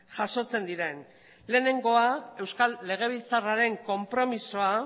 jasotzen diren lehenengoa euskal legebiltzarraren konpromisoa